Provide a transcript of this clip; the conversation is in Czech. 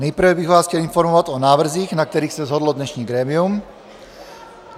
Nejprve bych vás chtěl informovat o návrzích, na kterých se shodlo dnešní grémium.